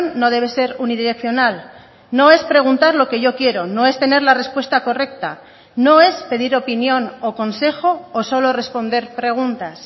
no debe ser unidireccional no es preguntar lo que yo quiero no es tener la respuesta correcta no es pedir opinión o consejo o solo responder preguntas